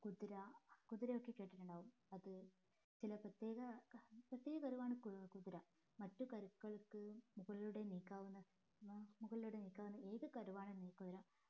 കുതിര കുതിര ഒക്കെ കേട്ടിട്ട് ഉണ്ടാകും അപ്പൊ ചില പ്രത്യേക പ്രത്യേക കഴിവാണ് കുതിര മറ്റു കരുക്കൾക്ക് മുകളിലൂടെ നീക്കാവുന്ന മുകളിലൂടെ നീക്കാവുന്ന ഏതു കരുവാണെങ്കിലും